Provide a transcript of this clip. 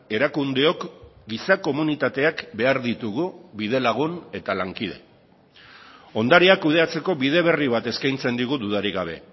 erakundeok giza komunitateak behar ditugu bidelagun eta lankide ondarea kudeatzeko bide berri bat eskaintzen digu dudarik gabe